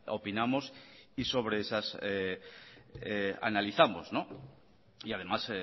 opinamos y sobre esas analizamos y además